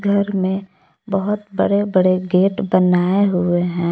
घर में बहुत बड़े बड़े गेट बनाए हुए हैं।